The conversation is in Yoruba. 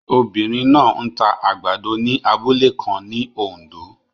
Obinrin naa n ta agbado ni abule kan ni Ondo